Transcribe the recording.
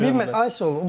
Yox, ay sağ olun.